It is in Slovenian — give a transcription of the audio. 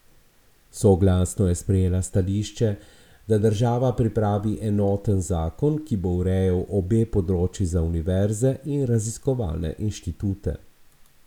Soglasno je sprejela stališče, da država pripravi enoten zakon, ki bo urejal obe področji za univerze in raziskovalne inštitute.